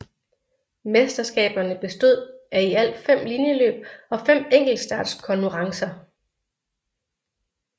Mesterskaberne bestod af i alt fem linjeløb og fem enktelstartskonurrencer